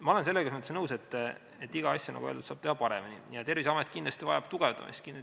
Ma olen selles mõttes nõus, et iga asja, nagu öeldud, saab teha paremini ja Terviseamet kindlasti vajab tugevdamist.